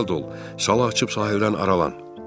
Cəld ol, sala açıb sahildən aralan.